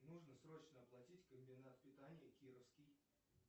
нужно срочно оплатить комбинат питания кировский